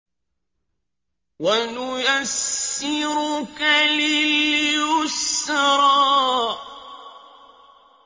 وَنُيَسِّرُكَ لِلْيُسْرَىٰ